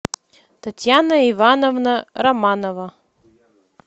татьяна ивановна романова